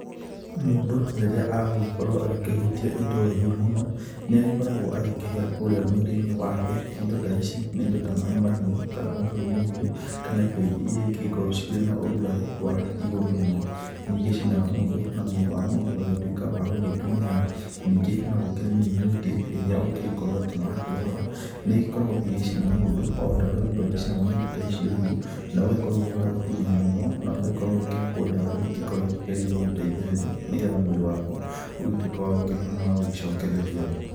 Mũndũ rĩrĩa agũgĩkorwo agĩkĩhutia indo hiũ mũno, nĩ agĩkoragwo agĩkĩhĩa kũrĩa mwĩrĩ-inĩ wake. Indo ta ici nĩ indo ta nĩ maaĩ mahiũ, kana ũcũrũ mũhiũ, kana indo ingĩ iria ingĩgĩkorwo cikĩrĩ na ũrugarĩ wa igũrũ mũno, nĩ igĩcinaga mũndũ na mwĩrĩ wa mũndũ ũgagĩtuĩka wa gũgĩtunĩha. Ningĩ no gũkĩrĩ mĩrimũ ĩngĩ ĩrĩa ũngĩgĩkorwo atĩ nĩ wakĩrwara, nĩ ĩgĩkoragwo ĩgĩcina mũndũ o ta ũrĩa mũndũ agĩcinagwo nĩ indo icio hiũ, na ũgagĩkorwo wĩ wa gũtunĩha mũno, na ũgagĩkorwo ũgĩkĩhakwo ndawa iria ingĩkoragwo ikĩgeria gũgũteithĩrĩria, nĩgetha mwĩrĩ waku ũgĩtuĩke wa gũkĩhona na wa gũgĩcokereria.